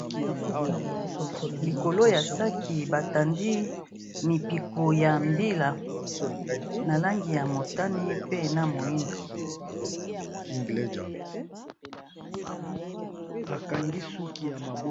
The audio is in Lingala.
Likolo ya sac, ba tandi mipiku ya mbila na langi ya motane, pe na moyindo .